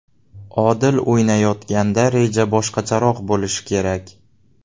Odil o‘ynayotganda reja boshqacharoq bo‘lishi kerak.